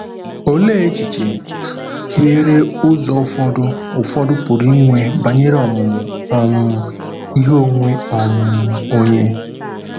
Olee echiche hiere ụzọ ụfọdụ ụfọdụ pụrụ inwe banyere ọmụmụ um ihe onwe um onye?